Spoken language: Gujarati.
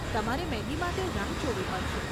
તમારે મેગી માટે રાહ જોવી પડશે.